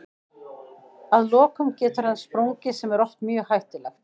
Að lokum getur hann sprungið sem er oft mjög hættulegt.